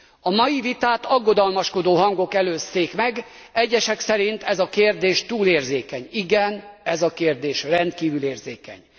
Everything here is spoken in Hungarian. A mai vitát aggodalmaskodó hangok előzték meg, egyesek szerint ez a kérdés túl érzékeny. Igen, ez a kérdés rendkívül érzékeny.